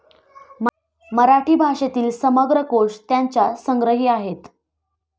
मराठी भाषेतील समग्र कोष त्यांच्या संग्रही आहेत.